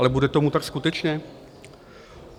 Ale bude tomu tak skutečně?